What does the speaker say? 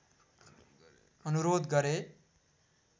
अनुरोध गरे